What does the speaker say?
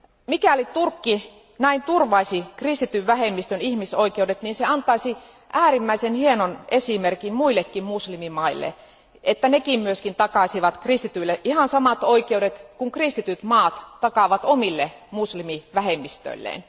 Mikäli Turkki näin turvaisi kristityn vähemmistön ihmisoikeudet, se antaisi äärimmäisen hienon esimerkin muillekin muslimimaille, että nekin takaisivat kristityille ihan samat oikeudet kuin kristityt maat takaavat omille muslimivähemmistöilleen.